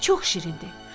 Çox şirindi.